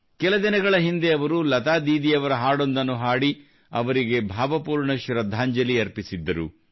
ಕೆಲ ದಿನಗಳ ಹಿಂದೆ ಅವರು ಲತಾ ದೀದಿಯವರ ಹಾಡೊಂದನ್ನು ಹಾಡಿ ಅವರಿಗೆ ಭಾವಪೂರ್ಣ ಶೃದ್ಧಾಂಜಲಿ ಅರ್ಪಿಸಿದ್ದರು